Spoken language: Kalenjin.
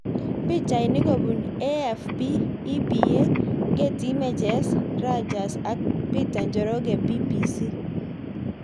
Pichainik kopun AFP, EPA, Getty Images, Reuters ak Peter Njoroge BBC